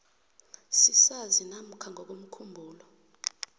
sisazi namkha ngokomkhumbulo